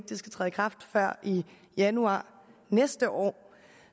det skal træde i kraft før januar næste år